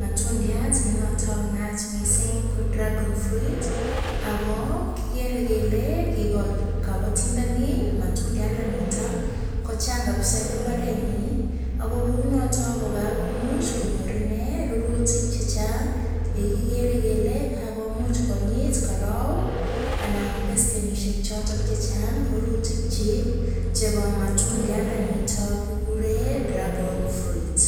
matundiat ne noton naat mising ko dragon fruit ago kigere kele kigol kobotindoni matundiandanito kochang kabisa en mbarenyin ago kounoto kogakomuch konyor inee rurutik che chang ye kigeere kele kagomuch konyit karait anan beskenishek choto che chang rurutikyik chebo matundianito kiguren dragon fruit.